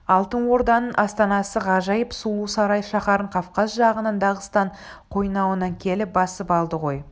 алтын орданың астанасы ғажайып сұлу сарай шаһарын кавказ жағынан дағыстан қойнауынан келіп басып алды ғой